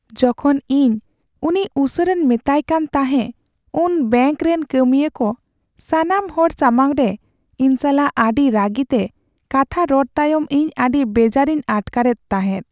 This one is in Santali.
ᱡᱚᱠᱷᱚᱱ ᱤᱧ ᱩᱱᱤ ᱩᱥᱟᱹᱨᱟᱧ ᱢᱮᱛᱟᱭ ᱠᱟᱱ ᱛᱟᱦᱮᱸ ᱩᱱ ᱵᱮᱝᱠ ᱨᱮᱱ ᱠᱟᱹᱢᱤᱭᱟᱹ ᱠᱚ ᱥᱟᱱᱟᱢ ᱦᱚᱲ ᱥᱟᱢᱟᱝ ᱨᱮ ᱤᱧ ᱥᱟᱞᱟᱜ ᱟᱹᱰᱤ ᱨᱟᱹᱜᱤᱛᱮ ᱠᱟᱛᱷᱟ ᱨᱚᱲ ᱛᱟᱭᱚᱢ ᱤᱧ ᱟᱹᱰᱤ ᱵᱮᱡᱟᱨ ᱤᱧ ᱟᱴᱠᱟᱨᱣᱫ ᱛᱟᱦᱤᱸ